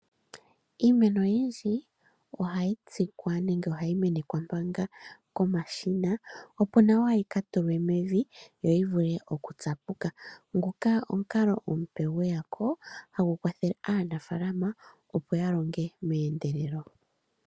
Iimeno oyindji ohayi tsikwa nenge ohayi menekwa manga komashina opo nawa yi ka tulwe mevi yo yi vule okutsapuka ngoka omukalo omupe gweyapo hagu kwathele aanafalama opo ya longe meendelelo.